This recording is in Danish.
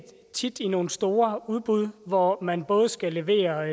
tit i nogle store udbud hvor man både skal levere